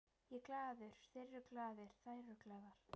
Ég er glaður, þeir eru glaðir, þær eru glaðar.